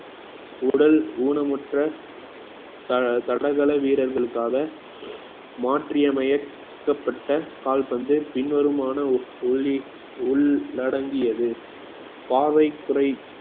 உடல் ஊனமுற்ற த~ தடகள வீரர்களுக்காக மாற்றியமைக்கபட்ட கால்பந்து பின்வருமானு உள்ளிட்~ உள்~ உள் அடங்கியது பாவை குறை